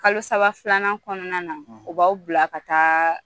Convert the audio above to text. Kalo saba filanan kɔnɔna na o b'aw bila ka taa